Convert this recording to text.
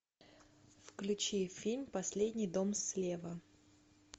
включи фильм последний дом слева